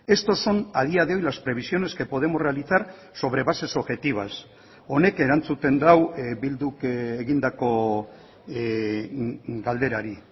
estos son a día de hoy las previsiones que podemos realizar sobre bases objetivas honek erantzuten du bil duk egindako galderari